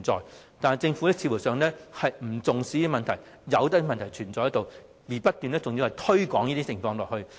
然而，政府似乎不重視，任由問題存在，還要不斷令這些情況惡化。